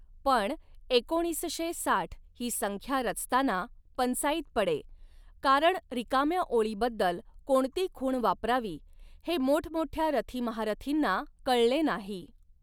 पण एकोणीसशे साठ ही संख्या रचताना पंचाईत पडें, कारण रिकाम्या ओळीबद्दल कोणती खूण वापरावी हें मोठमोठ्या रथी महारथींना कळलें नाहीं.